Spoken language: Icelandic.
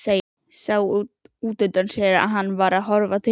Sá útundan sér að hann var að horfa til hennar.